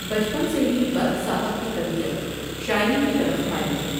بچپن سے ہی برق صاحب کی طبیعت شاعری کی طرف مائل تھی ۔